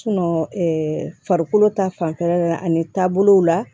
farikolo ta fanfɛla ani taabolo la